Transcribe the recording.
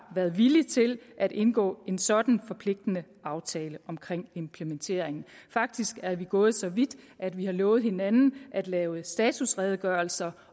været villig til at indgå en sådan forpligtende aftale omkring implementeringen faktisk er vi gået så vidt at vi har lovet hinanden at lave statusredegørelser